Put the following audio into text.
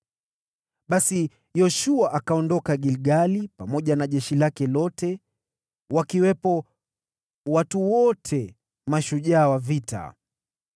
Basi Yoshua akaondoka Gilgali pamoja na jeshi lake lote, wakiwepo watu wote mashujaa wa vita.